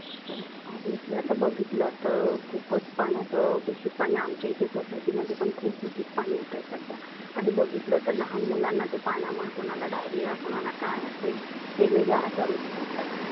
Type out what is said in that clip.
obviousy आता बघितलं तर खुपच पाण्याच दुषित पाणी आमच्या इथे society मध्ये पण खुप दुषित येतय सध्या. आणि बघितलं तर लहाण मुलांना ते पाण्यामुळ कोणाला diarrhea कोणाला काय असे, वेगवेगळे आजार उत्भवताय.